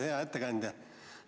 Hea ettekandja!